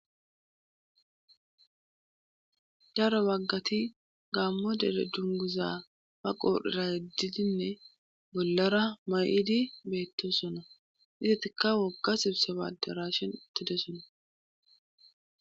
Daro baggati gaammo dere dunguza baa qorera yegididinne bollara ma'idi beettoosona izatikka wogga sibsaba aderashin utidoossona